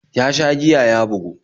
Ya sha giya ya bugu